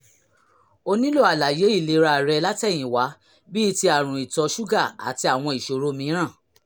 o nílò àlàyé ìlera rẹ látẹ̀yìnwá bíi ti àrùn ìtọ̀ ṣúgà àti àwọn ìṣòro mìíràn